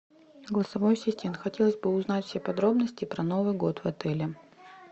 голосовой ассистент хотелось бы узнать все подробности про новый год в отеле